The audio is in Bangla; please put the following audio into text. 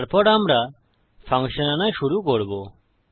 তারপর আমরা ফাংশন আনা শুরু করবো